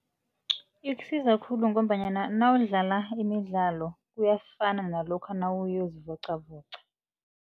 Ikusiza khulu ngombanyana nawudlala imidlalo kuyafana nalokha nawuyokuzivoqavoqa.